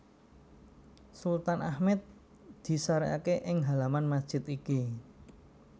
Sultan Ahmed disarèkaké ing halaman masjid iki